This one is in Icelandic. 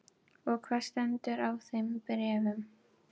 Og hvað stendur í þeim bréfum?